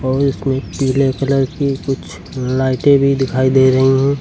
और इसमें पीले कलर की कुछ लाइटे भी दिखाई दे रही हैं।